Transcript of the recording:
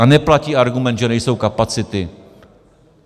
A neplatí argument, že nejsou kapacity.